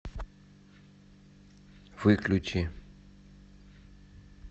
выключи